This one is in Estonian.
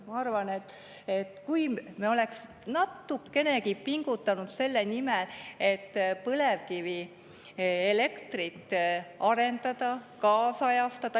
Ma arvan, et kui me oleks natukenegi pingutanud selle nimel, et põlevkivielektrit arendada, kaasajastada …